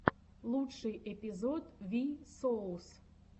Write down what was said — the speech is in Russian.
лучший эпизод ви соус